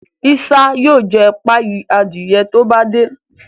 Isa yóò jé páyi Adiye to bá dé.